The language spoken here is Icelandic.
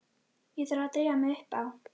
Ég þarf að drífa mig upp á